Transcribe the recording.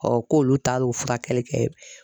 k'olu taar'o furakɛli kɛ.